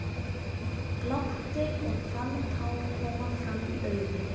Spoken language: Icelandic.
Glápti og fann tár koma fram í augun.